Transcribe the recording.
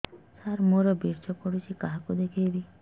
ସାର ମୋର ବୀର୍ଯ୍ୟ ପଢ଼ୁଛି କାହାକୁ ଦେଖେଇବି